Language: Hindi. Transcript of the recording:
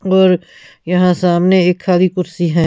और यहां सामने एक खाली कुर्सी है ।